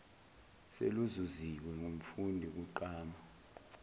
seluzuziwe ngumfundi kugqama